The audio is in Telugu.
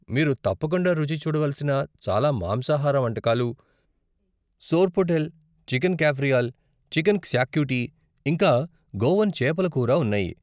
మీరు తప్పకుండా రుచి చూడవలసిన చాలా మాంసాహార వంటకాలు, సోర్పోటెల్, చికెన్ కాఫ్రియల్, చికెన్ క్సాక్యూటీ ఇంకా గోవన్ చేపల కూర ఉన్నాయి.